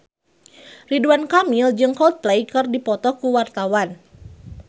Ridwan Kamil jeung Coldplay keur dipoto ku wartawan